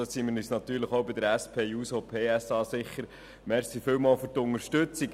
Das finden auch wir von der SP-JUSO-PSA-Fraktion. Danke vielmals für die Unterstützung.